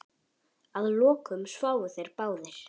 Að lokum sváfu þeir báðir.